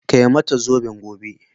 Kai mata zoben gobe